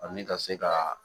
Ani ka se ka